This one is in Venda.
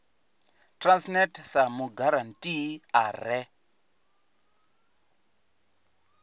transnet sa mugarantii a re